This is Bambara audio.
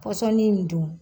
Pɔsɔnin dun